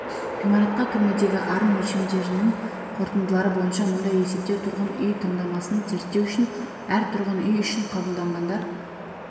ғимаратқа кірмедегі арын өлшемдерінің қорытындылары бойынша мұндай есептеу тұрғын үй таңдамасын зерттеу үшін әр тұрғын үй үшін қабылданғандар